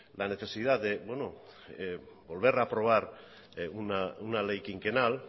la necesidad de volver a aprobar una ley quinquenal